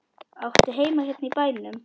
Áttu heima hérna í bænum?